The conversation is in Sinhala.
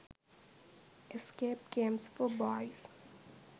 escape games for boys